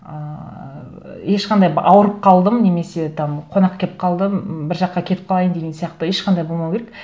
ыыы ешқандай ауырып қалдым немесе там қонақ келіп қалды м бір жаққа кетіп қалайын деген сияқты ешқандай болмау керек